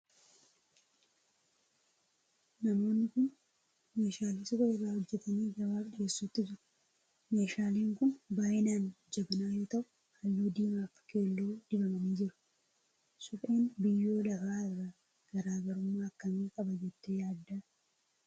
Namoonni kun meeshaalee suphee irraa hojjetanii gabaaf dhiyeessuutti jiru. Meeshaaleen kun baay'inaan jabanaa yoo ta'u, halluu diimaa fi keelloo dibamanii jiru. Supheen biyyoo lafaa irraa garaagarummaa akkamii qaba jettee yaadda?